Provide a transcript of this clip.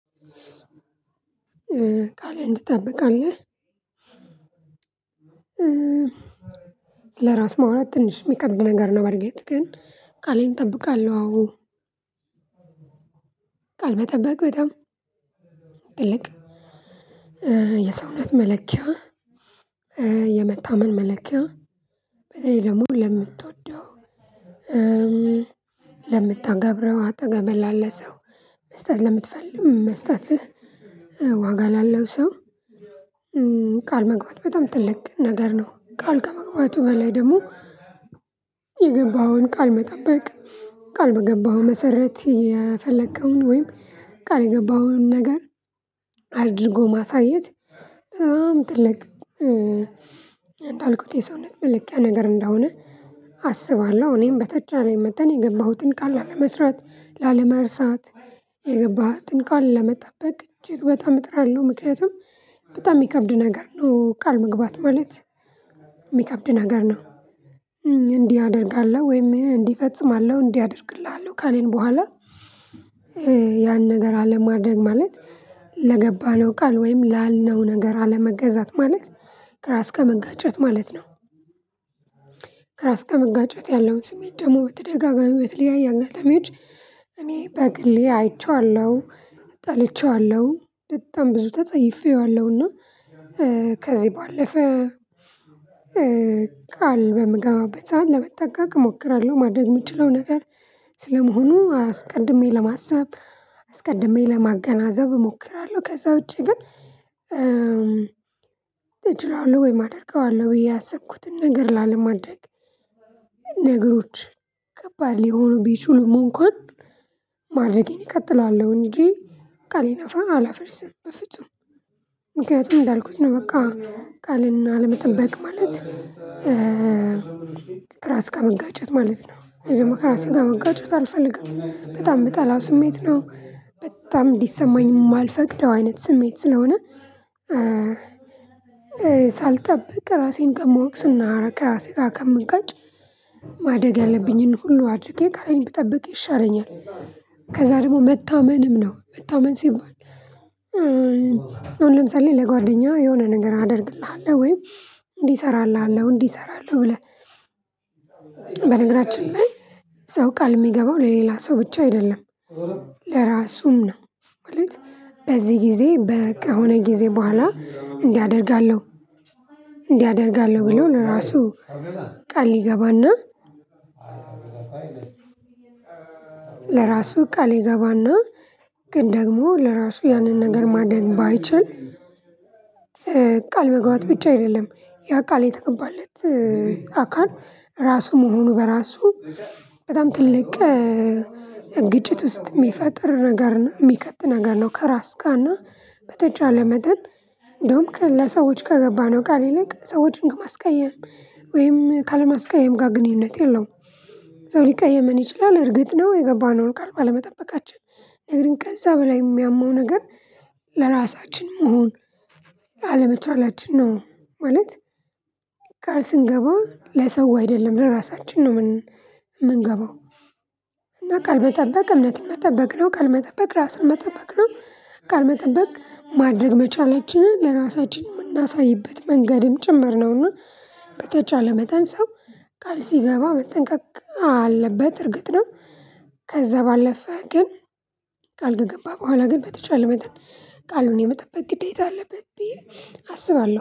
ቃልህን ትጠብቃለህ? ስለራስ ማውራት ትንሽ ሚከብድ ነገር ነው በእርግጥ ግን ቃሌን እጠብቃለሁ። አዎ ቃል መጠበቅ በጣም ትልቅ የሰውነት መለኪያ የመታመን መለኪያ። ወይ ደግሞ ለምትወደው ለምታገብረው አጠገብህ ላለ ሰው መስጠት ለምትፈልግ መስጠትህ ዋጋ ላለው ሰው ቃል መግባት በጣም ትልቅ ነገር ነው። ቃል ከመግባቱ በላይ ደግሞ የገባኸውን ቃል መጠበቅ ቃል በገባኸው መሰረት የፈለከውን ወይም ቃል የገባኸውን ነገር አድርጎ ማሳየት በጣም ትልቅ እንዳልኩት የሰውነት መለኪያ ነገር እንደሆነ አስባለሁ። እኔም በተቻለኝ መጠን የገባሁትን ቃል ላለመስራት ላለመርሳት የገባሁትን ቃል ለመጠበቅ እጅግ በጣም እጥራለው ምክንያቱም በጣም የሚከብድ ነገር ነው ቃል መግባት ማለት የሚከብድ ነገር ነው። እንዲህ አደርጋለሁ ወይም እንዲህ እፈጽማለሁ እንዲህ አደርግልሃለሁ ካለኝ በኋላ ያን ነገር አለማድረግ ማለት ለገባነው ቃል ወይም ላልነው ነገር አለመገዛት ማለት ከራስ ጋር መጋጨት ማለት ነው። ከራስ ጋር መጋጨት ያለውን ስሜት ደግሞ በተደጋጋሚ የተለያየ አጋጣሚዎች እኔ በግሌ አይቼዋለሁ። ጠልቼዋለሁ በጣም ብዙ ተጸይፌዋለሁና ከዚህ ባለፈ ቃል በምገባበት ሰዓት ለመጠንቀቅ እሞክራለሁ ማድረግ የምችለው ነገር ስለመሆኑ አስቀድሜ ለማሰብ አስቀድሜ ለማገናዘብ እሞክራለሁ ከዛ ውጪ ግን እችላለሁ ወይም አደርገዋለሁ ብዬ ያሰብኩትን ነገር ላለማድረግ ነገሮች ከባድ ሊሆኑ ቢችሉም እንኳን ማድረጌን እቀጥላለሁ። እንጂ ቃሌን አፋ አላፍርስም በፍጹም። ምክንያቱም እንዳልኩት ነው በቃ ቃሌንና አለመጠበቅ ማለት ራስ ጋር መጋጨት ማለት ነው ደግሞ ከራሴ ጋር መጋጨት አልፈልግም በጣም የምጠላው ስሜት ነው። በጣም እንዲሰማኝ የማልፈቅደው አይነት ስሜት ስለሆነ ሳልጠብቅ ራሴን ከምወቅስና ከራሴ ጋር ከምጋጭ ማድረግ ያለብኝን ሁሉ አድርጌ ቃሌን ብጠብቅ ይሻለኛል። ከዛ ደግሞ መታመንም ነው መታመን ሲባል አሁን ለምሳሌ ለጓደኛ የሆነ ነገር አደርግልሃለሁ ወይም እንዲ እሰራልሃለሁ እንዲሰራለው ብለህ በነገራችን ላይ ሰው ቃል የሚገባው ለሌላ ሰው ብቻ አይደለም። ለራሱም ነው ማለት በዚህ ጊዜ በቃ የሆነ ጊዜ በኋላ እንዲህ አደርጋለሁ። እንዲህ አደርጋለሁ ብሎ ራሱ ቃል ሊገባና ለራሱ ቃል ይገባና ግን ደግሞ ለራሱ ያንን ነገር ማድረግ ባይችል ቃል መግባት ብቻ አይደለም ያ ቃል የተገባለት አካል ራሱ መሆኑ በራሱ በጣም ትልቅ ግጭት ውስጥ የሚፈጥር ነገር የሚከት ነገር ነው። ከራስ ጋር እና በተቻለ መጠን እንደውም ከነ ሰዎች ከገባነው ቃል ይልቅ ሰዎችን በማስቀየም ወይም ካለማስቀየም ጋር ግንኙነት የለውም ሰው ሊቀየመን ይችላል። እርግጥ ነው የገባነው ቃል ባለመጠበቃችን ነገር ገግን ከዛ በላይ የሚያመው ነገር ለራሳችን መሆን አለመቻላችን ነው። ማለት ቃል ስንገባ ለሰው አይደለም ለራሳችን ነው የምንገባው እና ቃል መጠበቅ እምነትን መጠበቅ ነው ቃል መጠበቅ ራስን መጠበቅ ነው። ቃል መጠበቅ ማድረግ መቻላችንን ለራሳችን የምናሳይበት መንገድም ጭምር ነውና በተቻለ መጠን ሰው ቃል ሲገባ መጠንቀቅ እና አለበት እርግጥ ነው። ከዛ ባለፈ ግን ቃል ከገባ በኋላ ግን በተቻለ መጠን ቃሉን የመጠበት ግዴታ አለበት ብዬ አስባለሁ